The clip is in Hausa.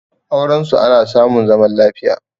aurensu ana samun zaman lafiya